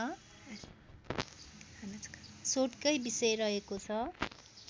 शोधकै विषय रहेको छ